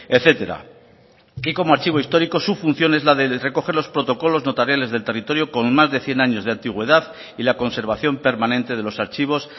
etcétera y como archivo histórico su función es la de recoger los protocolos notariales del territorio con más de cien años de antigüedad y la conservación permanente de los archivos